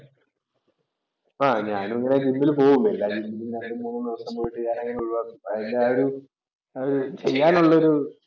ആഹ് ഞാനും അങ്ങനെ ജിമ്മില് പോകും. എല്ലാ ജിമ്മിലും രണ്ടും മൂന്നു ദിവസം ഒക്കെ പോയിട്ട് ഞാനങ്ങനെ ഒഴിവാക്കും. അതിന്‍റെ ആ ഒരു ചെയ്യാനുള്ള ഒരു